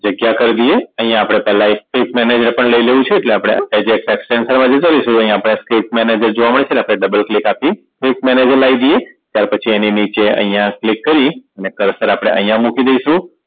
જગ્યા કરી દઈએ અહીંયા આપણે પેહલા એક Trick Manager પણ લઇ લેવું છે એટલે આપણે Eject attraction માં જતા રહીશું તો અહીંયા આપણે Trick Manager જોવા મળે છે ને આપણે Double click આપી Trick Manager લાઇ દઈએ ત્યાર પછી એની નીચે અહીંયા click કરી ને Cursor આપણે અહીંયા મૂકી દઈશું